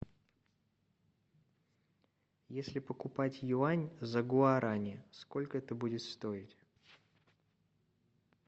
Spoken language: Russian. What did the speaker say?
если покупать юань за гуарани сколько это будет стоить